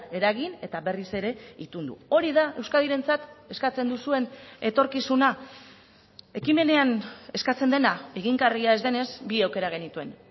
eragin eta berriz ere itundu hori da euskadirentzat eskatzen duzuen etorkizuna ekimenean eskatzen dena egingarria ez denez bi aukera genituen